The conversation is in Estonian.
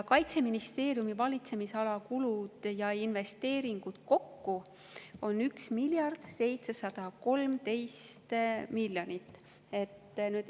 Kaitseministeeriumi valitsemisala kulud ja investeeringud kokku on 1 miljard 713 miljonit.